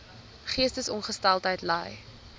geestesongesteldheid ly